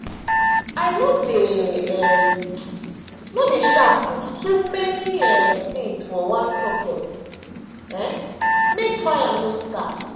i no dey um no dey um put too many um things for one socket um make fire no start.